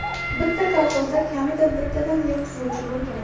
Bitta kolxozda kamida bittadan yer tuzuvchisi bo‘lgan.